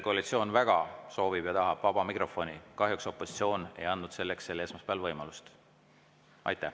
Koalitsioon väga soovib ja tahab vaba mikrofoni, kahjuks opositsioon ei andnud selleks sel esmaspäeval võimalust.